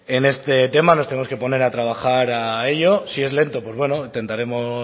en este tema nos tenemos que poner a trabajar a ello si es lento intentaremos